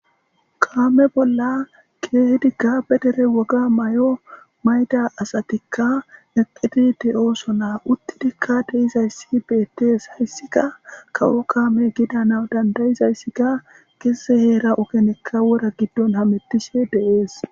Kame bola kehidi be dere woga mayo mayidi asatika eqidi de'osona utidika de'izaysa betes haysika kawo kame gidizaysika geze heeran wora gidon hamutishe de'es